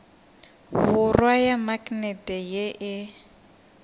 borwa ya maknete ye e